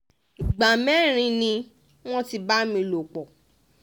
ìgbà mẹ́rin ni wọ́n ti bá mi lò pọ̀